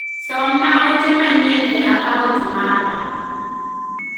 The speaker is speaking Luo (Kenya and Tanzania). somna ote manyien e akaunt mara